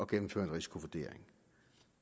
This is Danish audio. gennemføre en risikovurdering